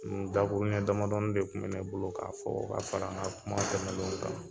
Ni dakuruya damadɔni de kun mɛ ne bolo, k'a fɔ ka fara n ka kuma tɛmɛlenw kan.